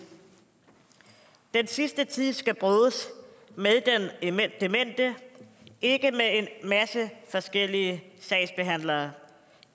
den sidste tid skal bruges med den demente ikke med en masse forskellige sagsbehandlere